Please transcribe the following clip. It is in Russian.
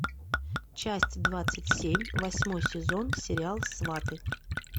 часть двадцать семь восьмой сезон сериал сваты